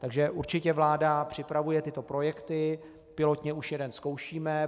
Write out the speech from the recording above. Takže určitě vláda připravuje tyto projekty, pilotně už jeden zkoušíme.